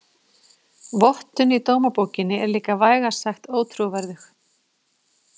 Vottun í dómabókinni er lika vægast sagt ótrúverðug.